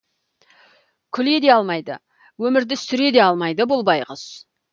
күле де алмайды өмірді сүре де алмайды бұл байғұс